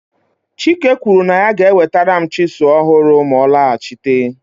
chike kwuru na ya ga-enwetara m chisuu ọhụrụ ma ọ lọghachite